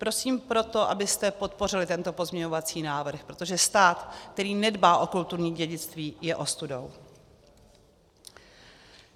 Prosím proto, abyste podpořili tento pozměňovací návrh, protože stát, který nedbá o kulturní dědictví, je ostudou.